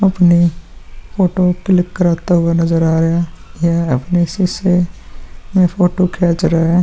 अपनी photo click करते हुए नज़र आ रहे हैं यह अपनी सीसे (शीशे) में फोटो खेंच (खींच) रहे हैं।